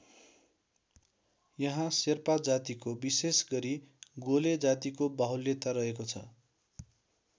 यहाँ शेर्पा जातिको विशेष गरी गोले जातिको बाहुल्यता रहेको छ।